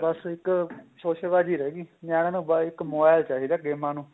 ਬੱਸ ਇੱਕ ਸ਼ੋਸ਼ੇ ਬਾਜੀ ਰਹਿ ਗੀ ਨਿਆਣਿਆ ਨੂੰ mobile ਨੂੰ ਚਾਹੀਦਾ ਗੇਮਾ ਨੂੰ